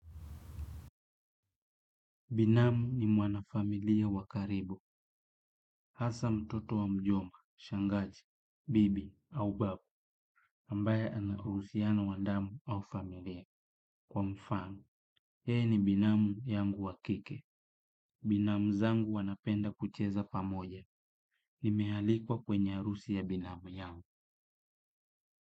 Binamu ni mwana familia wakaribu, hasa mtoto wa mjomba, shangazi, bibi, au babu, ambaye anauhusiano wandamu au familia. Kwa mfano, yeye ni binamu yangu wakike. Binamu zangu wanapenda kucheza pamoja. Nimehalikwa kwenye arusi ya binamu yangu.